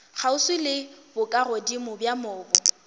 kgauswi le bokagodimo bja mobu